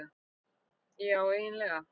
Já eiginlega.